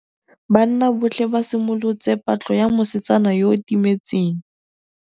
Banna botlhê ba simolotse patlô ya mosetsana yo o timetseng.